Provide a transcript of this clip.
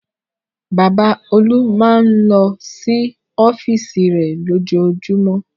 Bàbá Olú máa ń lọ sí ọ́fíísì rẹ̀ lójoojúmọ́.